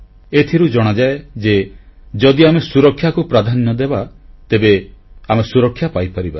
ଏଥିରୁ ଜଣାଯାଏ ଯେ ଯଦି ଆମେ ସୁରକ୍ଷାକୁ ପ୍ରାଧାନ୍ୟ ଦେବା ତେବେ ଆମେ ସୁରକ୍ଷା ପାଇପାରିବା